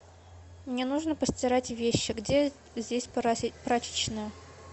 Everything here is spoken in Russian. мне нужно постирать вещи где здесь прачечная